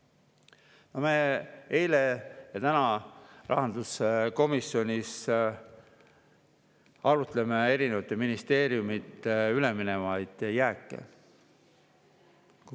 Rahanduskomisjonis arutasime eile ja arutame ka täna erinevate ministeeriumide üleminevaid jääke.